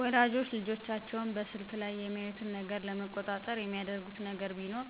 ወላጆች ልጆቻቸውን በስልኩ ላይ የሚያዩትን ነገር ለመቆጣጠር የሚያደርጉት ነገር ቢሆን